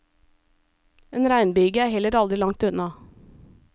En regnbyge er heller aldri langt unna.